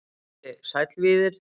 Broddi: Sæll Víðir.